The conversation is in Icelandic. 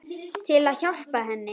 Til að hjálpa henni.